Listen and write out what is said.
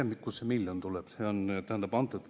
Ma ei tea, kust see miljoni tuleb.